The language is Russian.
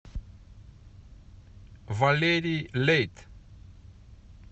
валерий лейт